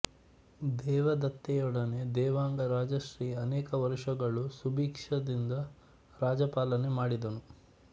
ದೇವದತ್ತೆಯೊಡನೆ ದೇವಾಂಗ ರಾಜಶ್ರೀ ಅನೇಕ ವರುಷಗಳು ಸುಭಿಕ್ಷದಿಂದ ರಾಜ್ಯಪಾಲನೆ ಮಾಡಿದನು